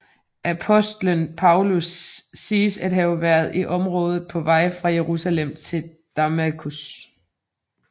Apostlen Paulus siges at have været i området på vej fra Jerusalem til Damaskus